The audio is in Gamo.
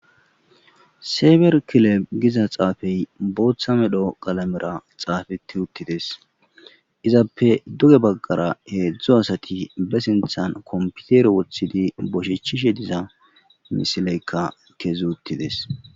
seeber kileb giza xaafey booththa medho qalamera xaafeti uttides izappe duge baggara heedzdzu asati be sinthan komputer woththidi boshechishe diza misileykka kezi uttides